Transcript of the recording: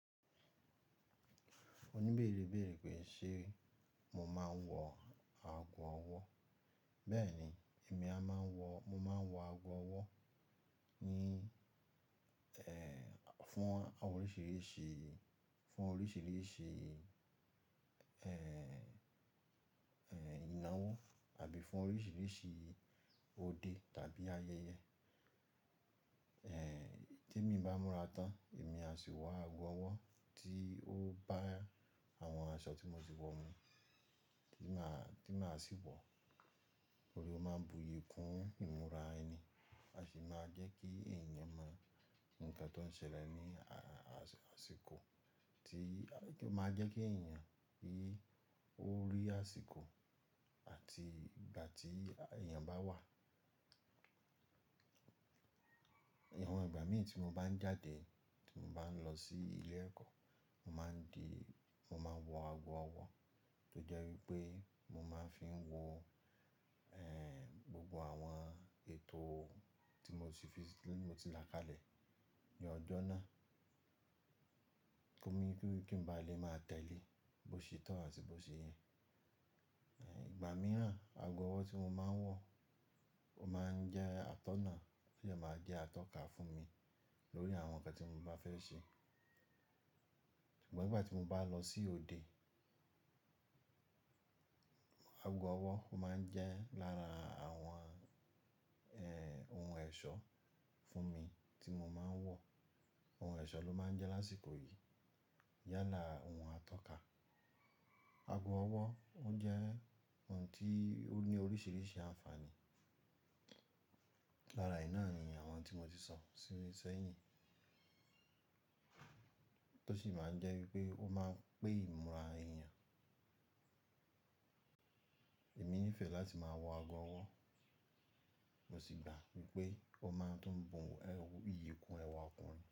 Òníbẹ́ẹ̀re bẹ́ẹ̀re pé ṣe mo máa ń wọ aago ọwọ́. Bẹ́ẹ̀ni, èmi a máa ń wọ, mo máa ń wọ aago ọwọ́ ní, eh, fún oríṣiríṣi, fún oríṣiríṣi, eh, eh, ìnáwó àbí fún oríṣiríṣi òde tàbí ayẹyẹ. Eh, tí èmi bá múra tán, èmi a sì wọ aago ọwọ́ tí ó bá àwọn aṣọ tí mo ti wọ̀ mú, tí màá, tí màá sì wọ̀. Oun lo máa ń buyì kún ìmúra ẹni. A sì máa jẹ́ kí èèyàn mọ nǹkan tó ń ṣẹlẹ̀ ní a-a-aṣíko tí, máa jẹ́ kí èèyàn rí orí àsìkò àti ìgbà tí èèyàn bá wà. Ìwọ̀n ìgbà mí ì tí mo bá ń jáde, tí mo bá ń lọ sí ilé ẹ̀kọ́, mo máa ń di, mo máa ń wọ aago ọwọ́ tó jẹ́ wípé mo máa ń fi ń wo, eh, gbogbo àwọn ètò tí mo ti fi sí, tí mo ti làkálẹ̀ ní ọjọ́ náà. Kí ómi, kí n ba lè máa tẹ̀lé bó ṣe tọ́ àti bó ṣe yẹn. Eh, ìgbà mìíràn aago ọwọ́ tí mo máa ń wọ, ó máa ń jẹ́ atọ́nà, ó dẹ máa jẹ́ atọ́ka fún mi lórí àwọn nǹkan tí mo bá fẹ́ ṣe. Ṣùgbọ́n ìgbà tí mo bá lọ sí òde, aago ọwọ́ ó máa ń jẹ́ lára àwọn, eh, ohun ẹ̀ṣọ́ fún mi tí mo máa ń wọ̀. Ohun ẹ̀ṣọ́ ló máa ń jẹ́ lásìkò yìí yála ohun atọ́ka. Aago ọwọ́ ó jẹ́ ohun tí ó ní oríṣiríṣi àǹfààní. Lára e náa ni àwọn tí mo ti sọ sílẹ̀ sẹ́yìn. Tó sì máa ń jẹ́ wípé ó máa ń pẹ ìmúra èèyàn. Èmi nífẹ̀ẹ́ láti máa wọ aago ọwọ́, mo sì gbà wípé ó máa tún bù ìyìkun ẹwà okunrin.